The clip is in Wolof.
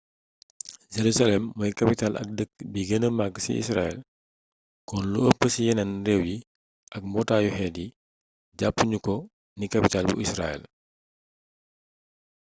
jerusalem mooy capital ak dëkk bi gëna mak ci israel kon lu ëpp ci yéneen réew yi ak mbootaayu xeet yi jàppu ñu ko ni kapital bu israel